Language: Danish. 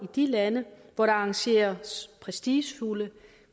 de lande hvor der arrangeres prestigefulde